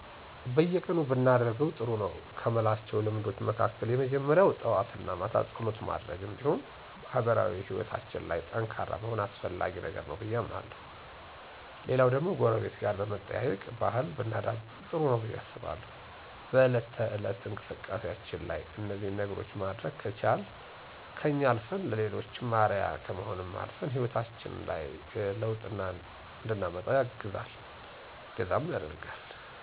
በየቀኑ ብናደርጋቸው ጥሩ ነው ከምላቸው ልምዶች መካከል የመጀመሪያው ጠዋት እና ማታ ፀሎት ማድረግ እንዲሁም ማህበራዊ ሕይወታችን ላይ ጠንካራ መሆን አስፈላጊ ነገር ነው ብዬ አምናለሁ። ሌላው ደግሞ ጎረቤት ጋር የመጠያየቅ ባህል ብናዳብር ጥሩ ነው ብዬ አስባለሁ። በእለት ተእለት እንቅስቃሴያችን ላይ እነዚህን ነገሮች ማድረግ ከቻልን ከኛ አልፈን ለሌሎችም አርአያ ከመሆንም አልፈን ሕይወታችን ላይ ለውጥ እንድናመጣ እገዛ ያደርጋል።